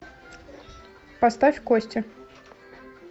поставь кости